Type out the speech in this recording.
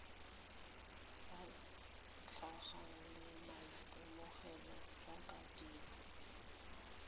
batlegang le maitemogelo jaaka dilo